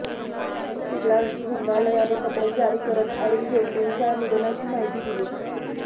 AIIMS रुग्णालयाने पत्रक जारी करत अरुण जेटलींच्या निधनाची माहिती दिली